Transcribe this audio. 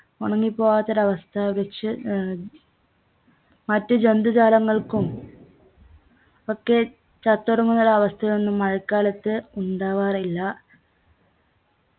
ഉണങ്ങിപ്പോവാത്ത ഒരു അവസ്ഥ വൃക്ഷ ഏർ മറ്റു ജന്തുജാലങ്ങൾക്കും ഒക്കെ ചത്തൊടുങ്ങുന്ന ഒരവസ്ഥയൊന്നും മഴക്കാലത്ത് ഉണ്ടാവാറില്ല